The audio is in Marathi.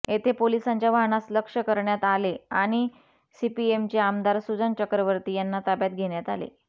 येथे पोलिसांच्या वाहनास लक्ष्य करण्यात आले आणि सीपीएमचे आमदार सुजन चक्रवर्ती यांना ताब्यात घेण्यात आले